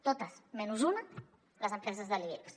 totes menys una les empreses de l’ibex